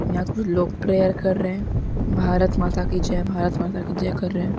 यहाँ कुछ लोग प्रेयर कर रहे हैं भारत माता की जय भारत माता की जय कर रहे हैं।